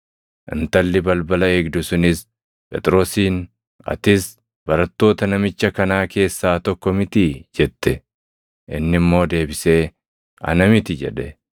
Intalli balbala eegdu sunis Phexrosiin, “Atis barattoota namicha kanaa keessaa tokko mitii?” jette. Inni immoo deebisee, “Ana miti” jedhe.